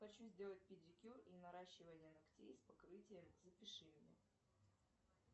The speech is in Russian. хочу сделать педикюр и наращивание ногтей с покрытием запиши меня